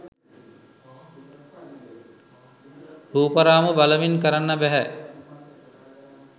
රූප රාමු බලමින් කරන්න බැහැ